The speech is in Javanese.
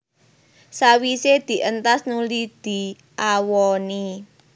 Sawisé dientas nuli diawoni